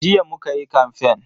Jiya muka yi kamfen.